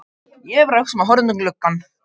Ég var bara að hugsa og horfa út um gluggann.